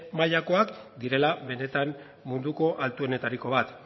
mailakoak direla benetan munduko altuenetariko bat